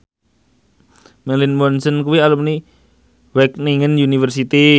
Marilyn Manson kuwi alumni Wageningen University